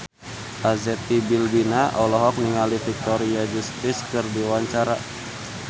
Arzetti Bilbina olohok ningali Victoria Justice keur diwawancara